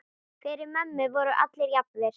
Fyrir mömmu voru allir jafnir.